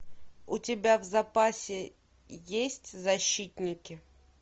у тебя в запасе есть защитники